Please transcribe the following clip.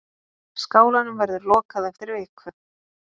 Skálanum verður lokað eftir viku.